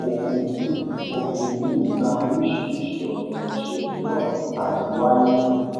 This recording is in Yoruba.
òfin yìí òfin yìí gba oríṣiríṣi ona iṣẹ mìíràn láti wáyé